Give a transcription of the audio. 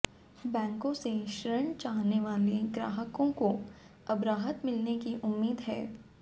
बैंकों से ऋण चाहने वाले ग्राहकों को अब राहत मिलने की उम्मीद है